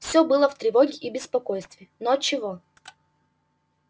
все было в тревоге и в беспокойстве но отчего